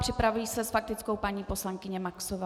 Připraví se s faktickou paní poslankyně Maxová.